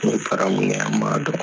N fara mun ma dɔrɔn